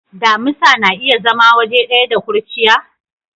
Damisa na iya zama waje daya da kurciya?